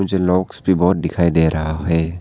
मुझे लॉक्स भी बहोत दिखाई दे रहा है।